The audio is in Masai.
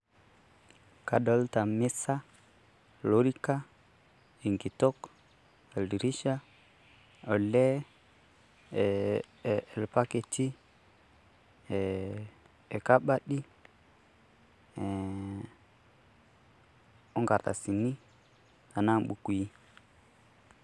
Kadolita misa, lorika, enkitok, oldirisha, olee, ilbaketi, ilkabati, o nkartasini, anaa impukui.